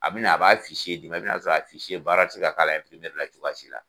A bi na, a b'a di e ma i na sɔrɔ a baara ti se ka k'a la la cogoya si la.